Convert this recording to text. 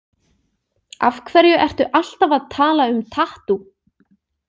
Af hverju ertu alltaf að tala um tattú?